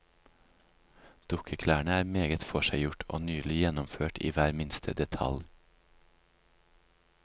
Dukkeklærne er meget forseggjort og nydelig gjennomført i hver minste detalj.